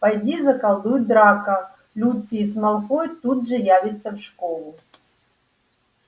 поди заколдуй драко люциус малфой тут же явится в школу